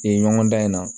Yen ɲɔgɔn dan in na